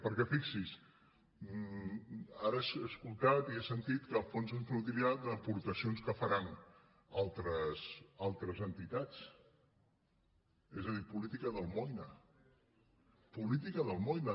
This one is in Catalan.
perquè fixinse ara he escoltat i he sentit que el fons es nodrirà d’aportacions que faran altres entitats és a dir política d’almoina política d’almoina